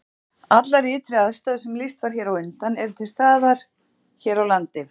Allar ytri aðstæður sem lýst var hér á undan eru til staðar hér á landi.